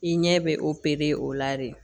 I ɲɛ bɛ opere o la de